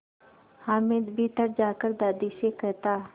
हामिद भीतर जाकर दादी से कहता